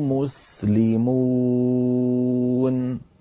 مُسْلِمُونَ